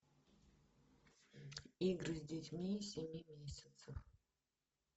игры с детьми семи месяцев